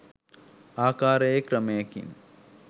ආකාරයේ ක්‍රමයකින්.